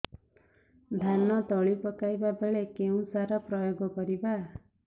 ଧାନ ତଳି ପକାଇବା ବେଳେ କେଉଁ ସାର ପ୍ରୟୋଗ କରିବା